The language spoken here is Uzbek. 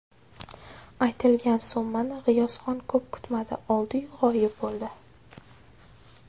Aytilgan summani G‘iyosxon ko‘p kutmadi oldi-yu g‘oyib bo‘ldi.